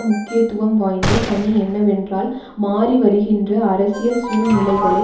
முக்கியத்துவம் வாய்ந்த பணி என்னவென்றால் மாறிவருகின்ற அரசியல் சூழ்நிலைகளை